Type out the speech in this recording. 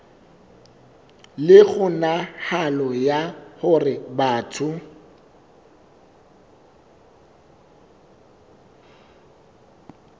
le kgonahalo ya hore batho